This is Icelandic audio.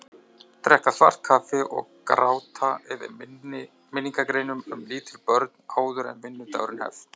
Drekka svart kaffi og gráta yfir minningargreinum um lítil börn áður en vinnudagur hefst.